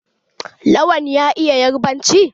Lawan ya iya yarbanci?